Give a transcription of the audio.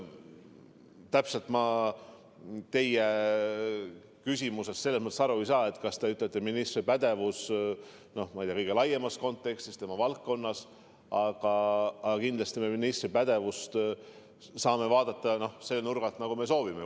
Täpselt ma teie küsimusest selles mõttes aru ei saa, kas te mõtlete ministri pädevust kõige laiemas kontekstis tema valdkonnas või mida, aga kindlasti saame ministri pädevust vaadata selle nurga alt, nagu me soovime.